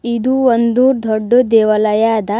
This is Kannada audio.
ಇದು ಒಂದು ದೊಡ್ಡು ದೇವಾಲಯ ಆದ.